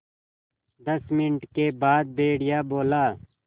दस मिनट के बाद भेड़िया बोला